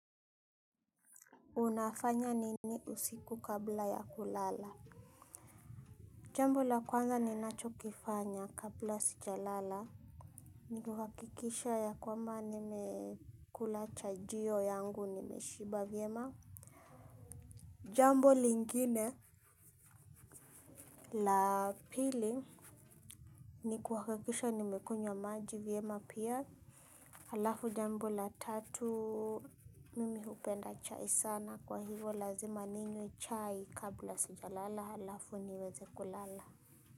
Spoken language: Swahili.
Unafanya nini usiku kabla ya kulala. Jambo la kwanza ni nacho kifanya kabla sija lala. Nikuhakikisha ya kwamba nimekula chajio yangu nimeshiba vyema. Jambo lingine la pili nikuhakikisha nimekunywa maji vyema pia. Halafu jambo la tatu mimi hupenda chai sana. Kwa hivyo lazima ninywe chai kabla sija lala halafu niweze kulala.